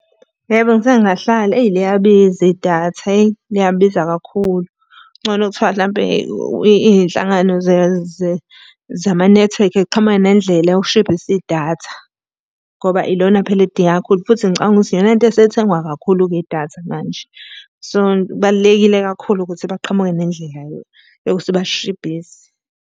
Yebo ngisake ngahlala, eyi liyabiza idatha eyi, liyabiza kakhulu. Kungcono thiwa hlampe iy'nhlangano zamanethiwekhi iy'qhamuke nendlela yokushibhisa idatha ngoba ilona phela elidingeka kakhulu, futhi ngicabanga ukuthi iyona nto esithengwa kakhulu-ke idatha manje. So, kubalulekile kakhulu ukuthi baqhamuke nendlela yokuthi balishibhise.